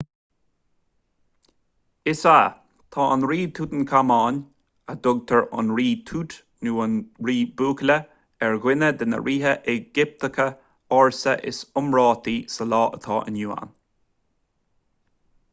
is ea tá an rí tútancáman a dtugtar an rí tút nó an rí buachalla ar dhuine de na ríthe éigipteacha ársa is iomráití sa lá atá inniu ann